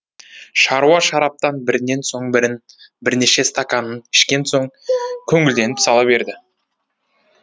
шаруа шараптан бірінен соң бірін бірнеше стаканын ішкен соң көңілденіп сала берді